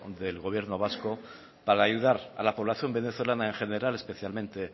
del gobierno vasco para ayudar a la población venezolana en general especialmente